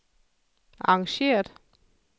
arrangeret